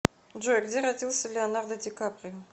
джой где родился леонардо дикаприо